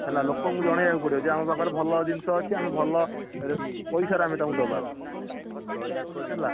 ହେଲା, ଲୋକଙ୍କୁ ଜଣେଇଆକୁ ପଡିବ ଯେ ଆମ ପାଖରେ ଭଲ ଜିନିଷ ଅଛି ଭଲ, ପଇସା ରେ ଆମେ ତାଙ୍କୁ ଦବା, ହେଲା।